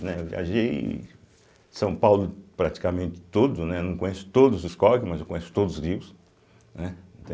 Né. Viajei São Paulo praticamente todo, né não conheço todos os córregos, mas eu conheço todos os rios, né.